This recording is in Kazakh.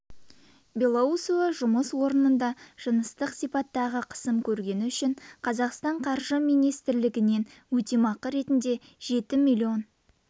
белоусова жұмыс орнында жыныстық сипаттағы қысым көргені үшін қазақстан қаржы министрлігінен өтемақы ретінде жеті миллион